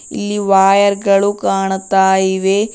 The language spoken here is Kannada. ಈ ವಯರ್ ಗಳು ಕಾಣ್ತಾ ಇವೆ.